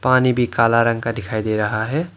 पानी भी काला रंग का दिखाई दे रहा है।